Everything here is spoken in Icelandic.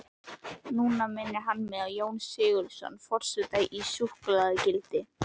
Núna minnir hann á Jón Sigurðsson forseta í súkkulaðigildi.